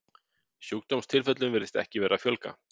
Sjúkdómstilfellum virðist ekki vera að fjölga.